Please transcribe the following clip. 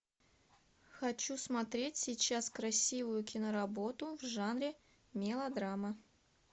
хочу смотреть сейчас красивую киноработу в жанре мелодрама